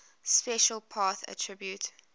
special path attribute